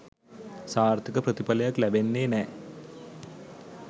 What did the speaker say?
සාර්ථක ප්‍රතිඵලයක් ලැබෙන්නේ නෑ.